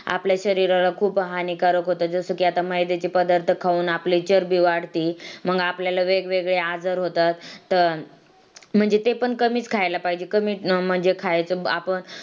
आपल्या शरीराला खूप हानिकारक होते जस कि आता मैद्याचे पदार्थ खाऊन आपली चरबी वाढती मग आपल्याला वेगवेगळे आजार होतात तर ते पण कमी खायला पाहिजे म्हणजे कमीच खायचा.